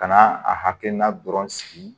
Kana a hakilina dɔrɔn sigi